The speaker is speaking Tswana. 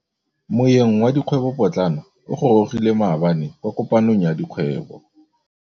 Moêng wa dikgwêbô pôtlana o gorogile maabane kwa kopanong ya dikgwêbô.